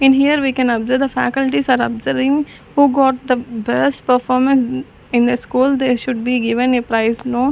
In here we can observe the faculties are observing who got the best performance in a school they should be given a prize no--